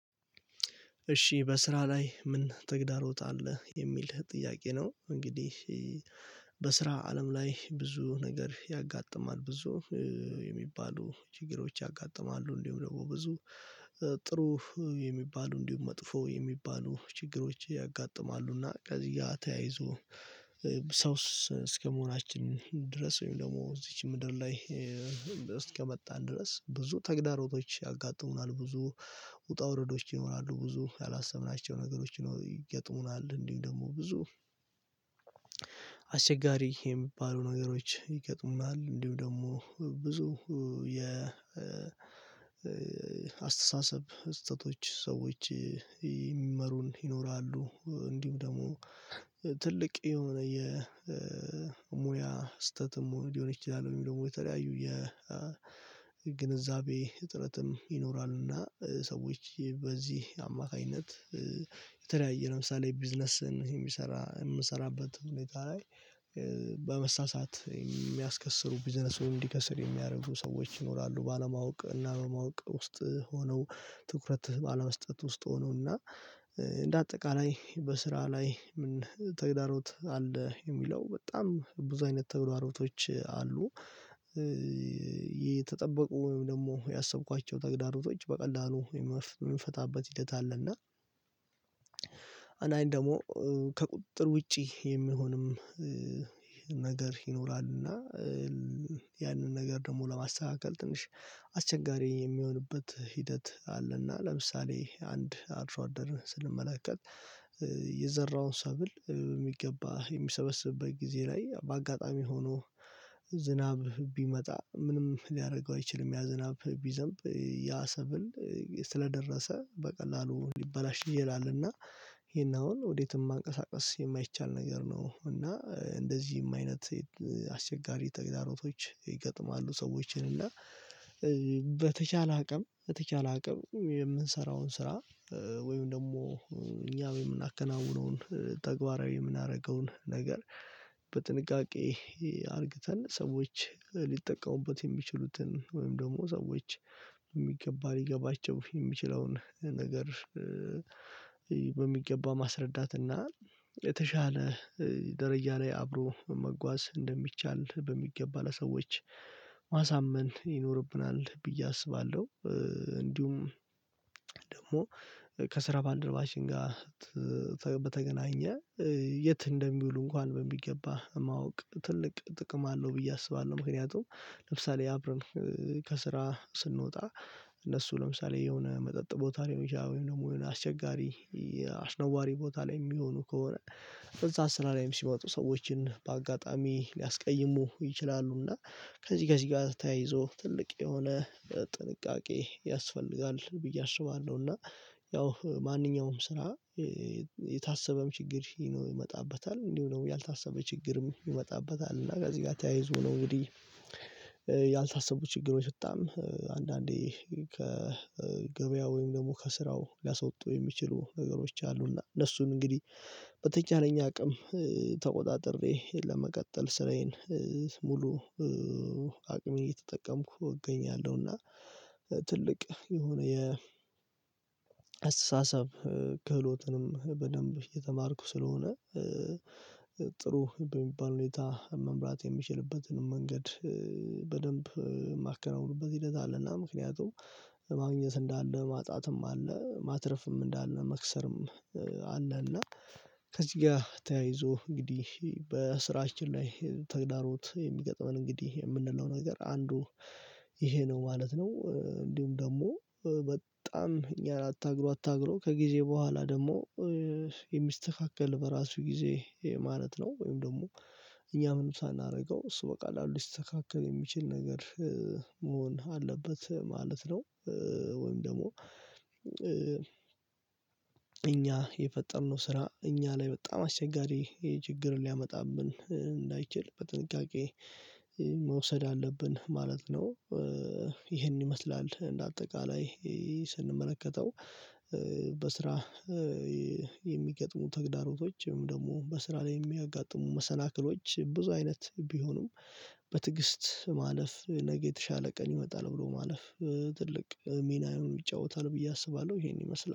እሺ በስራ ላይ ምን ተግዳሮት አለ የሚል ጥያቄ ነው? እንግዲህ በስራ አለም ላይ ብዙ ነገር ያጋጥማል ብዙ የሚባሉ ችግሮች ያጋጥማሉ። እንዲሁም ደግሞ ብዙ ጥሩ የሚባሉ እንዲሁም መጥፎ የሚባሉ ችግሮች ያጋጥማሉና። ከዚህ ያ ተያይዞ ሰውስ እስከመሆናችን ድረስ ወይም ደግሞ እዚች ምድር ላይ እስከ መጣን ድረስ ብዙ ተግዳሮቶች ያጋጥሙናል። ብዙ ውጣ ውረዶች ይኖራሉ ብዙ ያላሰብናቸው ነገሮች ነው ይገጥሙናል። እንዲሁ ደግሞ ብዙ አስቸጋሪ የሚባሉ ነገሮች ይገጥሙናል። እንዲሁም ደግሞ ብዙ የ አስተሳሰብ ስህተቶች ሰዎች ይመሩን ይኖራሉ እንዲሁ ደግሞ ትልቅ የሆነ የሙያ ስተትም ሊሆን ይችላል። ወይምደሞ የተለያዩ የግንዛቤ እጥረትም ይኖራልና ሰዎች በዚህ አማካኝነት የተለያየ ለምሳሌ ቢዝነስን የምሰራ የምሰራበት ሁኔታ ላይ በመሳሳት የሚያስከስሩ ቢዝነሱ እንዲከስር የሚያረጉ ሰዎች ይኖራሉ። ባለማወቅ እና በማወቅ ውስጥ ሆነው ትኩረት ባለመስጠት ውስጥ ሆነው። እና እንደ አጠቃላይ በስራ ላይ ምን ተግዳሮት አለ የሚለው በጣም ብዙ አይነት ተግዳሮቶች አሉ። የተጠበቁ ወይም ደግሞ ያሰብኳቸው ተግዳሮቶች በቀላሉ የምንፈታበት ሂደት አለ። እና አናይን ደግሞ ከቁጥጥር ውጪ የሚሆንም ነገር ይኖራልና። ያንን ነገር ደግሞ ለማስተካከል ትንሽ አስቸጋሪ የሚሆንበት ሂደት አለና። ለምሳሌ አንድ አድሶ አደር ስንመለከት የዘራውን ሰብል የሚገባ የሚሰበስብበት ጊዜ ላይ በአጋጣሚ ሆኖ ዝናብ ቢመጣ ምንም ሊያደርገው አይችልም። ያ ዝናብ ቢዘንብ ያ ሰብል ስለደረሰ በቀላሉ ሊበላሽ ይላል። እና ይሄን አሁን ወዴትም ማንቀሳቀስ የማይቻል ነገር ነው። እና እንደዚህም አይነት አስቸጋሪ ተግዳሮቶች ይገጥማሉ። ሰዎችን እና በተቻለ አቅም የተቻለ አቅም የምንሰራውን ስራ ወይም ደግሞ እኛ የምናከናውነውን ተግባራዊ የምናደርገውን ነገር በጥንቃቄ አርግተን ሰዎች ሊጠቀሙበት የሚችሉትን ወይም ደግሞ ሰዎች የሚገባ ሊገባቸው የሚችለውን ነገር። በሚገባ ማስረዳት እና የተሻለ ደረጃ ላይ አብሮ መጓዝ እንደሚቻል በሚገባ ለሰዎች ማሳመን ይኖርብናል ብዬ አስባለሁ። እንዲሁም ደግሞ ከስራ ባልደረባችን ጋር በተገናኘ የት እንደሚውሉ እንኳን በሚገባ ማወቅ ትልቅ ጥቅም አለው ብዬ አስባለሁ። ምክንያቱም ለምሳሌ አብረን ከስራ ስንወጣ እነሱ ለምሳሌ የሆነ መጠጥ ቦታ ላይ ወይም ደግሞ የሆነ አስቸጋሪ አስነዋሪ ቦታ ላይ የሚሆኑ ከሆነ በዛ ስራ ላይ ሲወጡ ሰዎችን በአጋጣሚ ሊያስቀይሙ ይችላሉ። እና ከዚህ ከዚህ ጋር ተያይዞ ትልቅ የሆነ ጥንቃቄ ያስፈልጋል ብዬ አስባለሁ። እና ያው ማንኛውም ስራ የታሰበም ችግር ይሄ ነው የሚመጣበት አለ እንዲሁ ነው ያልታሰበ ችግርም ይመጣበታል። እና ከዚህ ጋር ተያይዞ ነው እንግዲህ። ያልታሰቡ ችግሮች በጣም አንዳንዴ ከገበያ ወይም ደግሞ ከስራው ሊያስወጡ የሚችሉ ነገሮች አሉና እነሱን እንግዲህ በተቻለኝ አቅም ተቆጣጥሬ ለመቀጠል ስራዬን ሙሉ አቅም እየተጠቀምኩ እገኛለሁና። ትልቅ የሆነ የአስተሳሰብ ክህሎትንም በደንብ የተማርኩ ስለሆነ። ጥሩ በሚባል ሁኔታ መምራት የሚችልበትን መንገድ በደንብ የማከናውንበት ሂደት አለና። ምክንያቱም ማግኘት እንዳለ ማጣትም አለ ማትረፍም እንዳለ መክሰርም አለ። እና ከዚህ ጋር ተያይዞ እንግዲህ በስራችን ላይ ተግዳሮት የሚገጥመን እንግዲህ ምንለው ነገር አንዱ ይሄ ነው ማለት ነው። እንዲሁም ደግሞ በጣም እኛ አታግሎ አታግሎ ከጊዜ በኋላ ደግሞ የሚስተካከል በራሱ ጊዜ ማለት ነው። ወይም ደግሞ እኛ ምንም ሳናደርገው እሱ በቀላሉ ሊስተካከል የሚችል ነገር መሆን አለበት ማለት ነው። ወይም ደግሞ እኛ የፈጠርነው ስራ እኛ ላይ በጣም አስቸጋሪ ይሄ ችግር ሊያመጣብን እንዳይችል በጥንቃቄ መውሰድ አለብን ማለት ነው። ይሄን ይመስላል እንደ አጠቃላይ ስንመለከተው በስራ የሚገጥሙ ተግዳሮቶችም ወይደግሞ በስራ ላይ የሚያጋጥሙ መሰናክሎች ብዙ አይነት ቢሆኑም በትግስት ማለፍ ነገ የተሻለ ቀን ይመጣል ብሎ ማለፍ ትልቅ ሚናን ይጫወታል ብዬ አስባለሁ። ይሄን ይመስላል